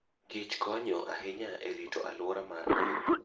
kich konyo ahinya e rito alwora mar piny.